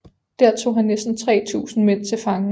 Der tog han næsten 3000 mænd til fange